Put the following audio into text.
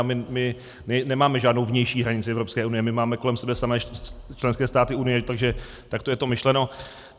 A my nemáme žádnou vnější hranici Evropské unie, my máme kolem sebe samé členské státy Unie, takže takto je to myšleno.